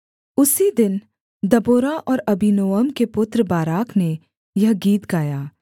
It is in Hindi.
उसी दिन दबोरा और अबीनोअम के पुत्र बाराक ने यह गीत गाया